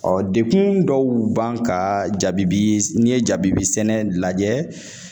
Ɔ dekun dɔw b'an kan jabibi n'i ye jabibi n'i ye jabibi sɛnɛ lajɛ